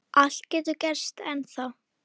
Allt getur gerst ennþá.